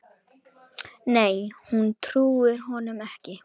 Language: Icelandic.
Nei hún trúir honum ekki.